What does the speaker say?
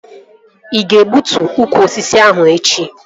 Ị ga-egbutu ukwu osisi ahụ echi!